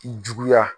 Juguya